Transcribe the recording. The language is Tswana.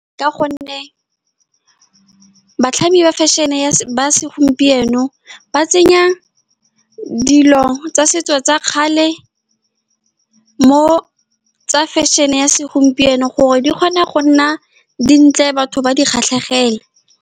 Ka gonne batlhami ba fashion-e ya ba segompieno, ba tsenya dilo tsa setso tsa kgale mo go tsa fashion-e ya segompieno, gore di kgone go nna dintle, batho ba di kgatlhegele.